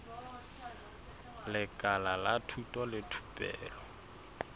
lekala la thuto le thupelo